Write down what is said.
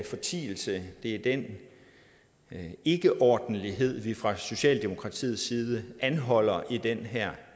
fortielse det er den ikkeordentlighed vi fra socialdemokratiets side anholder i den her